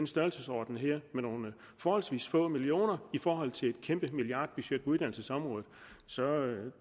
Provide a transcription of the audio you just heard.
størrelsesorden med nogle forholdsvis få millioner i forhold til et kæmpe milliardbudget på uddannelsesområdet så